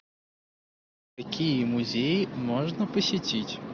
какие музеи можно посетить